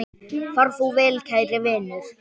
Far þú vel, kæri vinur.